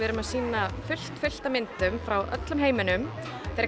erum að sýna fullt fullt af myndum frá öllum heiminum fyrir